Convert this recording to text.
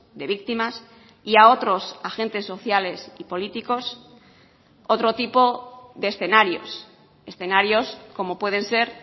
de víctimas y a otros agentes sociales y políticos otro tipo de escenarios escenarios como pueden ser